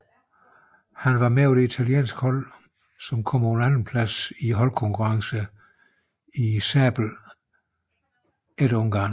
Han var med på det italienske hold som kom på en andenplads i holdkonkurrencen i sabel efter Ungarn